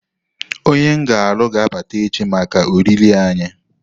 Onye m ga-alụ ga-abata echi maka oriri anyị.